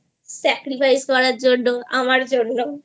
Sacrificeকরার জন্য আমার জন্য